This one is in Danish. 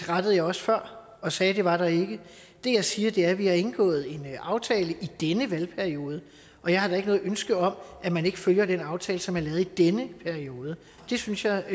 rettede jeg også før og sagde at det var der ikke det jeg siger er at vi har indgået en aftale i denne valgperiode og jeg har da ikke noget ønske om at man ikke følger den aftale som er lavet i denne periode det synes jeg er